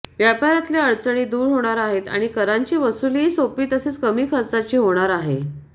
व्यापारातल्या अडचणी दूर होणार आहेत आणि करांची वसुलीही सोपी तसेच कमी खर्चाची होणार आहे